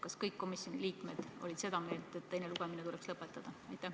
Kas kõik komisjoni liikmed olid seda meelt, et teine lugemine tuleks lõpetada?